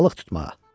Balıq tutmağa.